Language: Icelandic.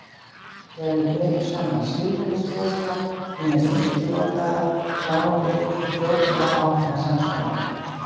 Þegar við berum saman siðferðisboðskap hinna ýmsu trúarbragða sjáum við þó fljótlega ákveðnar samsvaranir.